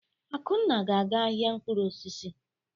Akunna ga-aga ahịa mkpụrụ osisi.